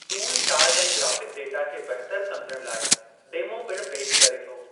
Tool chart ऐं graphic data खे बहितर सम्झणु लाइ डेमो पिणु पेशि करे थो।